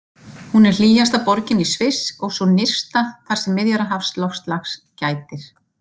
Hún er hlýjasta borgin í Sviss og sú nyrsta þar sem Miðjarðarhafsloftslags gætir.